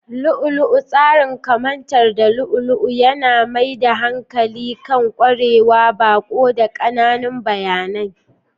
Lu'u-lu'u, tsarin kamantar da lu'u-lu'u, yana mai da hankali kan ƙwarewar baƙo da ƙananan bayanai.